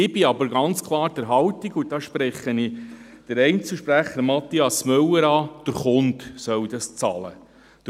Ich bin jedoch ganz klar der Meinung – und hier spreche ich den Einzelsprecher Mathias Müller an – dass der Kunde dies bezahlen soll.